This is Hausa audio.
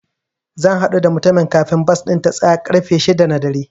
Zan haɗu da mutumin kafin bas ɗin ta tsaya ƙarfe shida na dare.